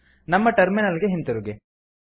ನಮ್ಮ ಟರ್ಮಿನಲ್ ಗೆ ಹಿಂತಿರುಗಿ